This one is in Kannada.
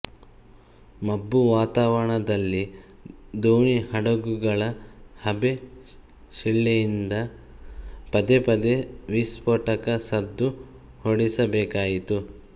ಮಬ್ಬು ವಾತಾವರಣದಲ್ಲಿ ದೋಣಿಹಡಗುಗಳ ಹಬೆ ಶಿಳ್ಳೆಯಿಂದ ಪದೇಪದೇ ವಿಸ್ಫೋಟಕ ಸದ್ದು ಹೊರಡಿಸಬೇಕಾಯಿತು